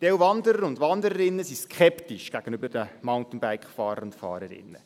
Manche Wanderer und Wanderinnen sind skeptisch gegenüber den Mountainbike-Fahrern und -Fahrerinnen.